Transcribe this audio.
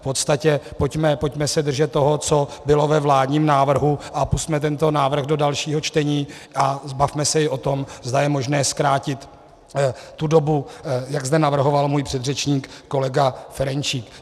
V podstatě pojďme se držet toho, co bylo ve vládním návrhu, a pusťme tento návrh do dalšího čtení a bavme se i o tom, zda je možné zkrátit tu dobu, jak zde navrhoval můj předřečník kolega Ferjenčík.